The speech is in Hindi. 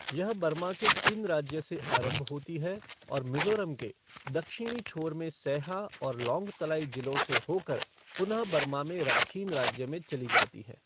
यह बर्मा के चिन राज्य से आरंभ होती है और मिजोरम के दक्षिणी छोर में सैहा और लॉंगतलाई जिलों से होकर पुनः बर्मा में राखीन राज्य में चली जाती है।